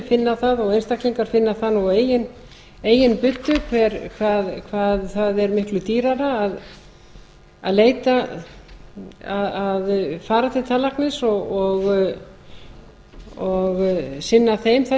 finna það og einstaklingar finna það nú á eigin buddu hvað það er miklu dýrara að fara til tannlæknis og sinna þeim